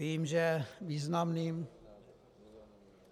Vím, že významným